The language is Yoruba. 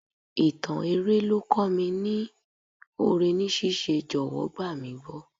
Ìtàn eré ló kọ́ mi ní oore ní ṣíṣe, jọ̀wọ́ gbà mí gbọ́.